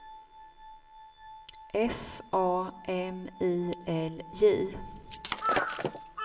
F A M I L J